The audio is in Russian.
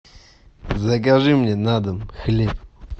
закажи мне на дом хлеб